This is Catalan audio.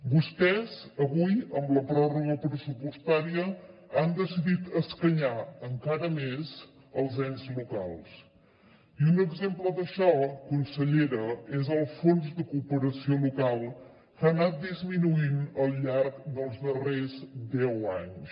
vostès avui amb la pròrroga pressupostària han decidit escanyar encara més els ens locals i un exemple d’això consellera és el fons de cooperació local que ha anat disminuint al llarg dels darrers deu anys